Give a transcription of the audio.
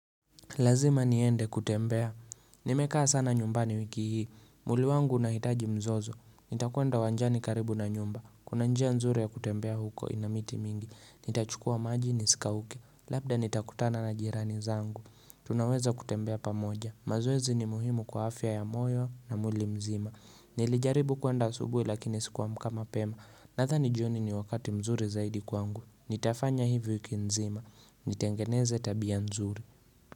Lazima niende kutembea, nimekaa sana nyumbani wiki hii, mwili wangu unahitaji mzozo, nitakwenda uwanjani karibu na nyumba, kuna njia nzuri ya kutembea huko ina miti mingi, nitachukua maji nisikauke, labda nitakutana na jirani zangu, tunaweza kutembea pamoja, mazoezi ni muhimu kwa afya ya moyo na mwili mzima, nilijaribu kuenda asubuhi lakini sikuamka mapema, nadhani jioni ni wakati mzuri zaidi kwangu, nitafanya hivyo wiki mzima, nitengeneze tabia nzuri.